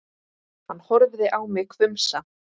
Hann horfði á mig hvumsa.